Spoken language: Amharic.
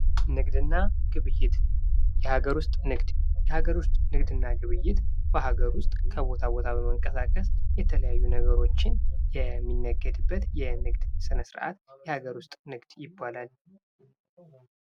ንግድና ግብይት የሀገር ውስጥ ንግድ የሀገር ውስጥ ንግድ እና ግብይት በሀገር ውስጥ ከቦታ ቦታ በመንቀሳቀስ የተለያዩ ነገሮችን የሚነገድበት የንግድ ስነ-ስርዓት የሀገር ውስጥ ንግድ ይባላል።